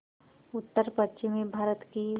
उत्तरपश्चिमी भारत की